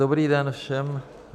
Dobrý den všem.